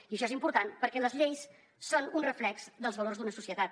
i això és important perquè les lleis són un reflex dels valors d’una societat